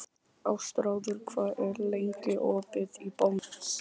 Ástráður, hvað er lengi opið í Bónus?